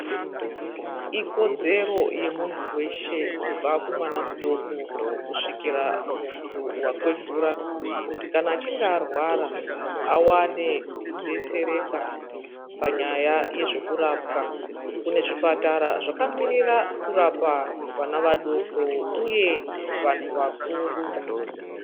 Ikodzero yemuntu weshe kubva kumwana mudoko kusvikira kumuntu wakwegura kuti kana achinge arwara awane kudetsereka panyaya dzezvekurapwa. Kune zvipatara zvakamirirara kurapa vana vadoko uye vantu vakuru.